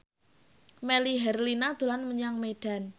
Melly Herlina dolan menyang Medan